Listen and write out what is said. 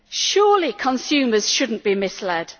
Surely consumers should not be misled.